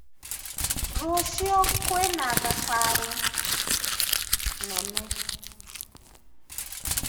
Rũciũ kwĩna thabarĩ nene.